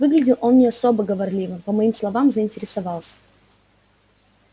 выглядел он не особо говорливым по моим словам заинтересовался